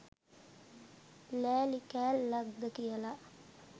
ලෑලි කෑල්ලක් ද කියලා.